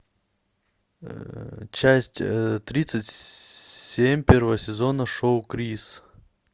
часть тридцать семь первого сезона шоу крис